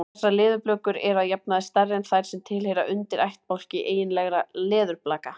Þessar leðurblökur eru að jafnaði stærri en þær sem tilheyra undirættbálki eiginlegra leðurblaka.